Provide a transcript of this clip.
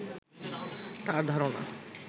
তাঁর ধারণা